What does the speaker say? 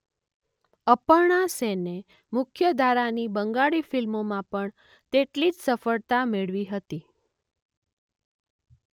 અપર્ણા સેને મુખ્ય ધારાની બંગાળી ફિલ્મોમાં પણ તેટલી જ સફળતા મેળવી હતી.